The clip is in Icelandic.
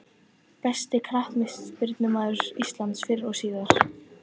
Besti knattspyrnumaður íslands fyrr og síðar?